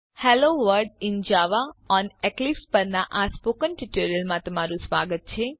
hello world in Java on Eclipse પરનાં spoken ટ્યુટોરીયલમાં સ્વાગત છે